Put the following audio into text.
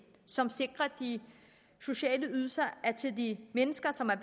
som sikrer at de sociale ydelser er til de mennesker som er